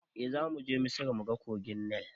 Eh zamuje misra muga kogin nil